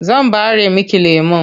Zan ɓare miki lemon.